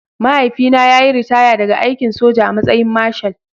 Mahaifina ya yi ritaya daga aikin soja a matsayin Marshal